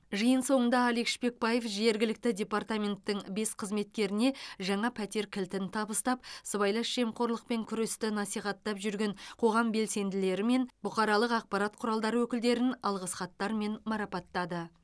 жиын соңында алик шпекбаев жергілікті департаменттің бес қызметкеріне жаңа пәтер кілтін табыстап сыбайлас жемқорлықпен күресті насихаттап жүрген қоғам белсенділері мен бұқаралық ақпарат құралдары өкілдерін алғыс хаттармен марапаттады